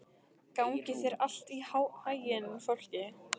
Gangi þér allt í haginn, Fálki.